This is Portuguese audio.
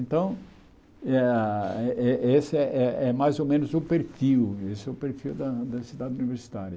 Então, é a eh eh esse é é mais ou menos o perfil, esse é o perfil da da cidade universitária.